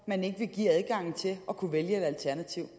man ikke vil give adgangen til at kunne vælge et alternativ